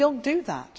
We do not do that.